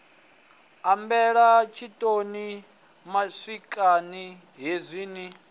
ambela tshiṋoni matswiani khezwi ni